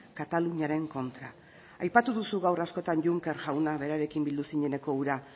kataluniaren kontra aipatu duzu gaur askotan juncker jauna berarekin bildu zineneko hura